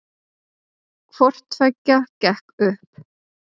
Hvorttveggja gekk upp